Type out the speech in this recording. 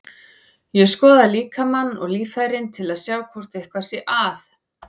Ég skoða líkamann og líffærin til að sjá hvort eitthvað sé að.